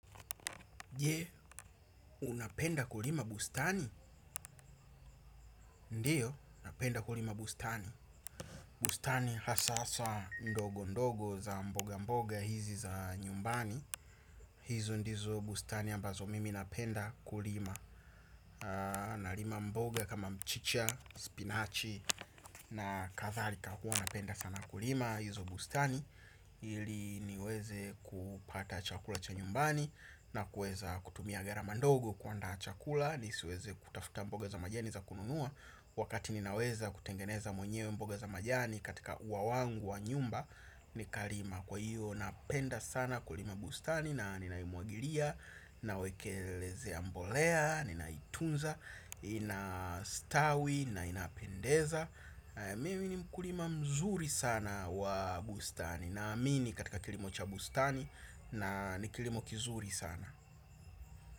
Je, unapenda kulima bustani. Ndiyo, napenda kulima bustani. Bustani hasahasa ndogo ndogo za mboga mboga hizi za nyumbani. Hizo ndizo bustani ambazo mimi napenda kulima. Narima mboga kama mchicha, spinachi na kadharika hua napenda sana kulima hizo bustani. Ili niweze kupata chakula cha nyumbani na kueza kutumia viarama ndogo kuaanda chakula. Nisiweze kutafuta mboga za majani za kununua. Wakati ninaweza kutengeneza mwenyewe mboga za majani katika ua wangu wa nyumba. Nikalima kwa hiyo napenda sana kulima bustani na ninaimwagilia. Nawekelezea mbolea, ninaitunza, inastawi na inapendeza. Mimi ni mkulima mzuri sana wa bustani. Naamini katika kilimo cha bustani na ni kilimo kizuri sana.